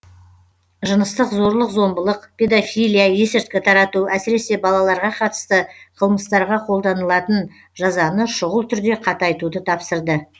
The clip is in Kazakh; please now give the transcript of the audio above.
жыныстық зорлық зомбылық педофилия есірткі тарату әсіресе балаларға қатысты қылмыстарға қолданылатын жазаны шұғыл түрде қатайтуды тапсырды